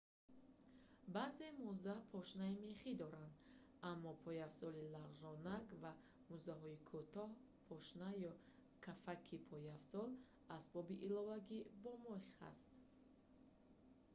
баъзе мӯза пошнаи мехӣ доранд аммо пойафзоли лағжонак ва мӯзаҳои кӯтоҳ пошна ё кафаки пойафзол асбоби иловагӣ бо мех ҳаст